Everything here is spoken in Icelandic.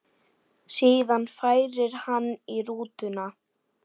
Síðan færi hann í rútuna.